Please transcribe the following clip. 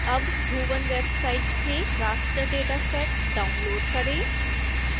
अब bhuvan website से raster dataset download करें